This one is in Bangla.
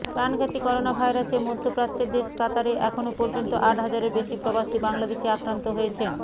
প্রাণঘাতী করোনাভাইরাসে মধ্যপ্রাচ্যের দেশ কাতারে এখন পর্যন্ত আট হাজারের বেশি প্রবাসী বাংলাদেশি আক্রান্ত হয়েছেন